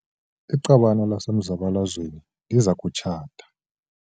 Iqabane lasemzabalazweni liza kutshata.